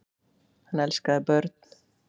Hann elskaði börn.